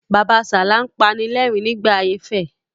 Bàbasalá ń panilẹ́rìn-rín nígbà ayé fẹ.